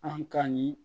An ka ɲin